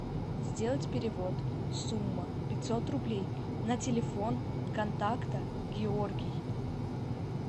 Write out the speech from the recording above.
сделать перевод сумма пятьсот рублей на телефон контакта георгий